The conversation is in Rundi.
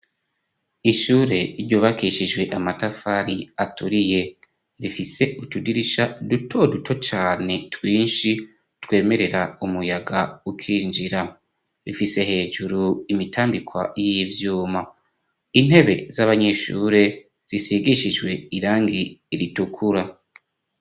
Ishure ryubakishijwe amatafari aturiye rifise utudirisha duto duto cane twinshi twemerera umuyaga ukinjira, rifise hejuru imitambikwa yivyuma, intebe z'abanyeshure zisigishijwe irangi ritukura.